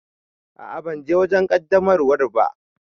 A'a ban je wajen qaddamarwar ba.